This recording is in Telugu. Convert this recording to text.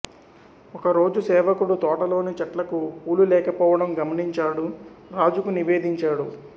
ఒకరోజు సేవకుడు తోటలోని చెట్లకు పూలులేకపోవడం గమనించాడు రాజుకు నివేదించాడు